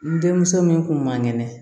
N denmuso min tun man kɛnɛ